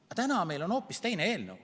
Aga täna meil on hoopis teine eelnõu.